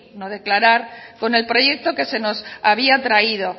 no declarar con el proyecto que nos había traído